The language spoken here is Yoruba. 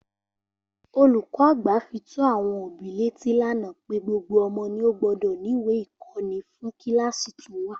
Olùkó àgbà fi tó àwon òbí létí lánàá pé gbogbo omo ni ó gbódò níwèé ìkóni fún kíláàsï tó wà